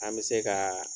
An bɛ se ka